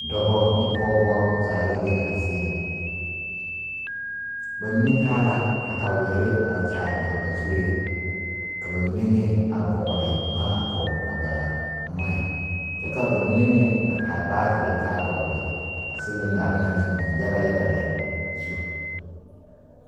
Dɔbɔ ne pɔɔbɔ zaa la be a zie ŋa ba mine taa la katawierre a kyaare a ba zuree ka ba mine meŋ a vɔgle bomma a pɔg a ba noɔɛ kaa ba mine meŋ a taa baagyirre dɔgle a ciliŋdarre ŋa na biŋ yaga yaga lɛ zu.